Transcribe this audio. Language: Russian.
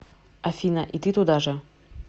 афина и ты туда же